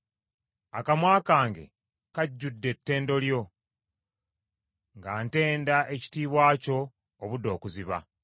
Akamwa kange kajjudde ettendo lyo, nga ntenda ekitiibwa kyo obudde okuziba.